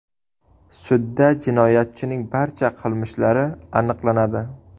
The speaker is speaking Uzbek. Sudda jinoyatchining barcha qilmishlari aniqlanadi.